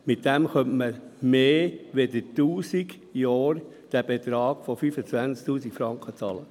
Damit könnte man diesen Betrag von 25 000 Franken mehr als 1000 Jahre lang bezahlen.